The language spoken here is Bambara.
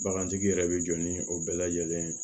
Bagantigi yɛrɛ bɛ jɔ ni o bɛɛ lajɛlen ye